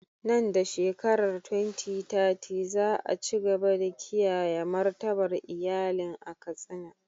Nan da shekarar 2030, za a ci gaba da kiyaye martabar iyalin a Katsina.